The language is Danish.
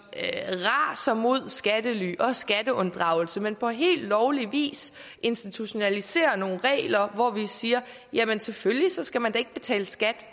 raser mod skattely og skatteunddragelse men på helt lovlig vis institutionaliserer nogle regler hvor vi siger at jamen selvfølgelig skal man da ikke betale skat